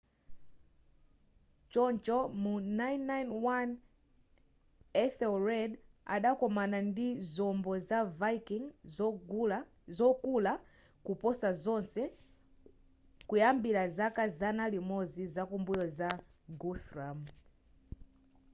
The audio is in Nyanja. choncho mu 991 ethelred adakomana ndi zombo za viking zokula kuposa zonse kuyambira zaka zana limodzi zakumbuyo za guthrum